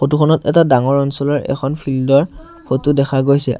ফটোখনত এটা ডাঙৰ অঞ্চলৰ এখন ফিল্ডৰ ফটো দেখা গৈছে।